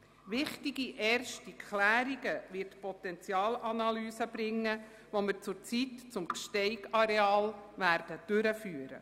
Wichtige erste Klärungen wird die Potenzialanalyse bringen, die wir zurzeit zum Gsteig-Areal durchführen.